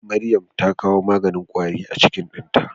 Maryam ta kawo maganin kwari a kicin dinta.